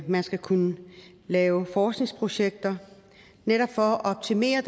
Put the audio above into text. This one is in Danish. man skal kunne lave forskningsprojekter netop for at optimere